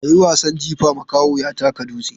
A yi wasan jifa, makaho ya taka dutse.